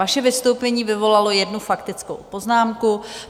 Vaše vystoupení vyvolalo jednu faktickou poznámku.